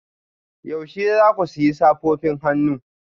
Yaushe za ku sayi safofin hannu